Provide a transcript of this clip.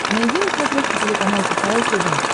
найди на смотрешке телеканал кхл тв